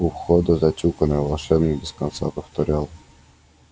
у входа затюканный волшебник без конца повторял